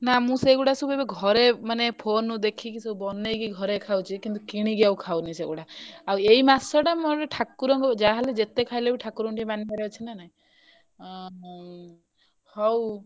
ନା ମୁଁ ସେଗୁଡା ସବୁ ଏବେ ଘରେ ମାନେ phone ରୁ ଦେଖିକି ସବୁ ବନେଇକି ଘରେ ଖାଉଛି କିନ୍ତୁ କିଣିକି ଆଉ ଖାଉନି ସେଗୁଡା ଆଉ ଏଇ ମାସଟା ମୋର ଠାକୁର ଙ୍କୁ ଯାହାହେଲେ ଯେତେ ଖାଇଲେ ବି ଠାକୁରଙ୍କୁ ଟିକେ ମାନିବାରେ ଅଛି ନା ନାଇ ଅଁ ହଉ ହଉ।